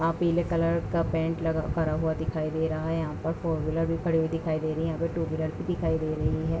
यहाँ पीले कलर का पेंट लगा करा हुआ दिखाई दे रहा है। यहाँ पर फोर व्हीलर भी खड़ी हुई दिखाई दे रही है। यहाँ पर टू व्हीलर भी दिखाई दे रही है।